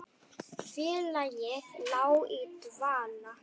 Félagið lá í dvala